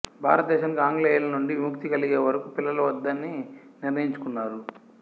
భారత దేశానికి ఆంగ్లేయుల నుండి విముక్తి కలిగే వరకు పిల్లలు వద్దని నిర్ణయించుకున్నారు